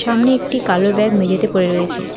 সামনে একটি কালো ব্যাগ মেঝেতে পড়ে রয়েছে।